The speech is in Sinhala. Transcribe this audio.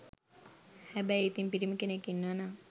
හැබැයි ඉතින් පිරිමි කෙනෙක් ඉන්නව නම්